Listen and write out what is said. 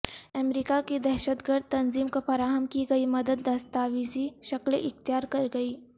امریکہ کی دہشت گرد تنظیم کو فراہم کی گئی مدد دستاویزی شکل اختیار کر گئی